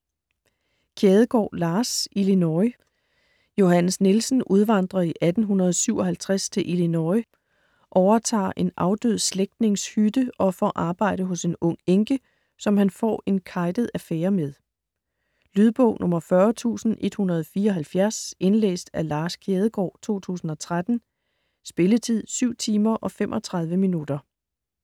Kjædegaard, Lars: Illinois Johannes Nielsen udvandrer i 1857 til Illinois, overtager en afdød slægtnings hytte og får arbejde hos en ung enke, som han får en kejtet affære med. Lydbog 40174 Indlæst af Lars Kjædegaard, 2013. Spilletid: 7 timer, 35 minutter.